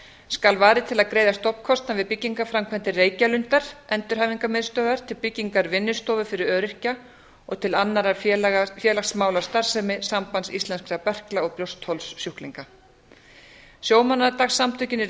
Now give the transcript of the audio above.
skal varið til að greiða stofnkostnað við byggingarframkvæmdir reykjalundar endurhæfingarmiðstöðvar til byggingar vinnustofu fyrir öryrkja og til annarrar félagsmálastarfsemi sambands íslenskra berkla og brjóstholssjúklinga sjómannadagssamtökin í